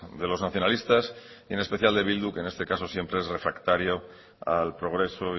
de los nacionalistas y en especial de bildu que en este caso siempre es refractario al progreso